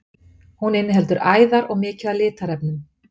Hún inniheldur æðar og mikið af litarefni.